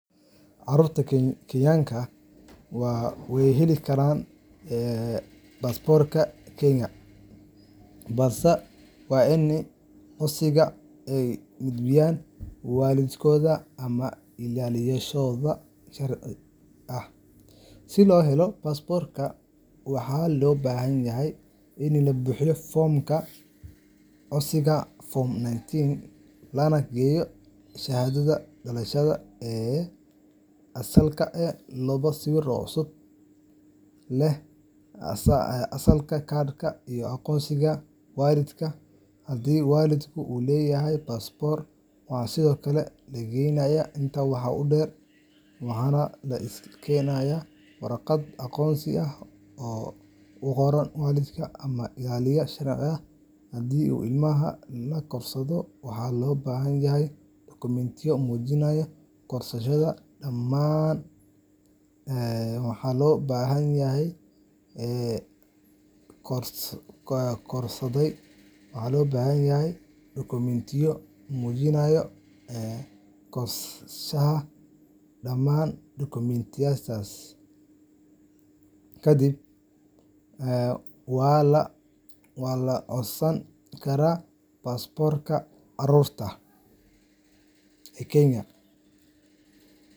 Carruurta Kenyaanka ah way heli karaan baasaboorka Kenya, balse waa in codsiga ay gudbiyaan waalidkooda ama ilaaliyayaashooda sharci ah. Si loo helo baasaboorka, waxaa loo baahan yahay in la buuxiyo foomka codsiga Form 19, lana keeno shahaadada dhalashada ee asalka ah, labo sawir oo cusub leh asalka cad, iyo aqoonsiga waalidka Haddii waalidka uu leeyahay baasaboor, waxaa sidoo kale la keenaa. Intaa waxaa dheer, waa in la keenaa warqad oggolaansho ah oo uu qoray waalidka ama ilaaliyaha sharci ah. Haddii ilmaha la korsaday, waxaa loo baahan yahay dokumentiyo muujinaya korsashada. Dhammaan dukumentiyadaas kadib, waa la codsan karaa baasaboorka carruurta ee Kenya.